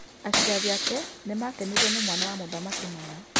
Aciari ake nĩmakenirio nĩ mwana wa mũthamaki mũno.